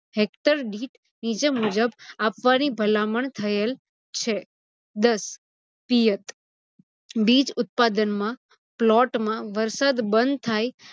hector દીઠ નીજ મુજબ આપવાની ભલામણ થયેલ છે. દસ પિયત - બીજ ઉત્પાદનમાં plot માં વરસાદ બંધ થાય